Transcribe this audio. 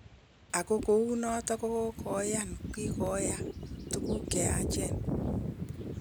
Ago kuunoton kogonyan kokigoya tuguu cheyachen.